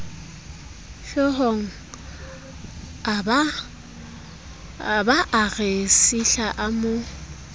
hloohongabaa re sihla a mo